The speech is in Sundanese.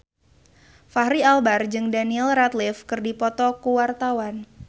Fachri Albar jeung Daniel Radcliffe keur dipoto ku wartawan